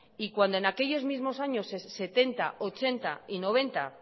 y cuando en aquellos mismos años mil novecientos setenta mil novecientos ochenta y mil novecientos noventa